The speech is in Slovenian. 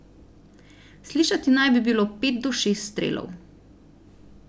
Slišati naj bi bilo pet do šest strelov.